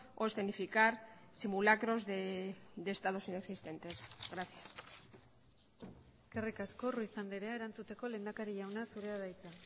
o escenificar simulacros de estados inexistentes gracias eskerrik asko ruiz andrea erantzuteko lehendakari jauna zurea da hitza